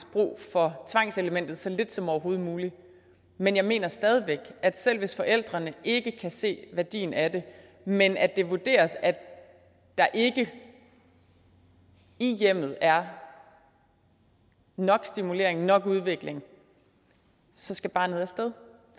brug for tvangselementet så lidt som overhovedet muligt men jeg mener stadig væk at selv hvis forældrene ikke kan se værdien af det men at det vurderes at der ikke i hjemmet er nok stimulering nok udvikling så skal barnet af sted